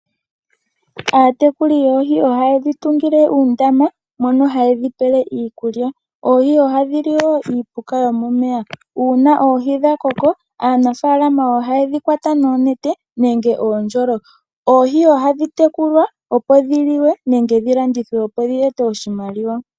Aatekuli yoohi oha yedhi tungile uundama mono ha yedhi pele iikulya ohadhi li woo uupuka womomeya, uuna dha koka aanafalama oha yedhi kwata noonete oshowo oondjolo. Oohi ohadhi tekulilwa onyama yadho oshowo okulandithwa.